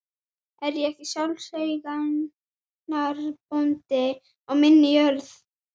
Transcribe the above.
Jafnframt höfðað hann mál á hendur stjórnendum hlutafélaganna persónulega.